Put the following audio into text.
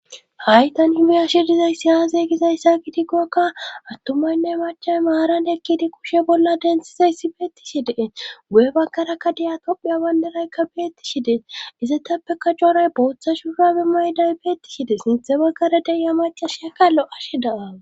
haytan himiya shi dizaysi aazeygizayssa gidiggokka attumaynne macham maaran ekkidi kushe bolla densizayssi beettishi dee gu7e baggarakka deya tophiya wanderaykka beetti shidees iza tappeka jooray booththa shuurabi mayday beettishi de sinthe baggara de'iya macashiakkalo7ashe da7awus